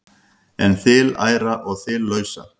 en þiliæra og þiliausa